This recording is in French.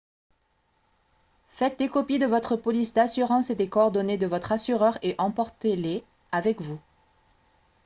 faites des copies de votre police d'assurance et des coordonnées de votre assureur et emportez-les avec vous